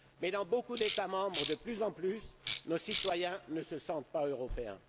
Mais dans de nombreux États membres, de plus en plus, nos citoyens ne se sentent pas européens.